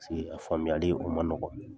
a faamuyali o man nɔgɔ.